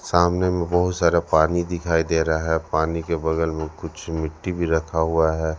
सामने में बहुत सारा पानी दिखाई दे रहा है पानी के बगल में कुछ मिट्टी भी रखा हुआ है।